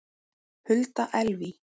Hulda Elvý.